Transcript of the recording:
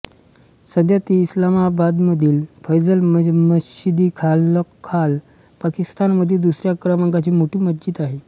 सध्या ती इस्लामाबादमधील फैसल मशीदीखालोखाल पाकिस्तानमधील दुसऱ्या क्रमांकाची मोठी मशीद आहे